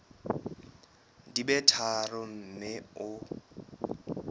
di be tharo mme o